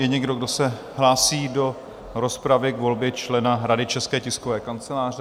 Je někdo, kdo se hlásí do rozpravy k volbě člena Rady České tiskové kanceláře?